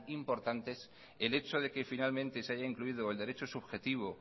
importantes el hecho de que finalmente se haya incluido el derecho subjetivo